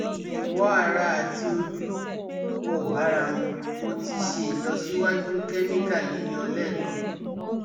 Iwo ara ati oju o bara mu, mo ti se ilosiwaju chemical yiyo lekan